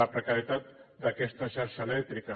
la precarietat d’aquesta xarxa elèctrica